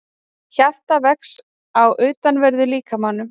Hjartað vex á utanverðum líkamanum